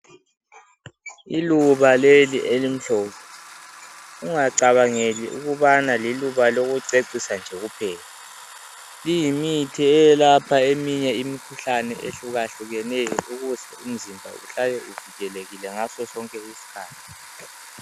Iluba leli elimhlophe. Ungacabangeli ukubana liluba lokucecisa nje kuphela. Liyimithi eyelapha eminye imikhuhlane ehlukahlukeneyo ukuze umzimba uhlale uvikelekile ngasosonke isikhathi